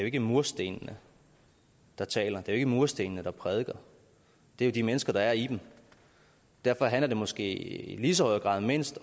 ikke murstenene der taler det er ikke murstenene der prædiker det er de mennesker der er i dem derfor handler det måske i lige så høj grad om mindst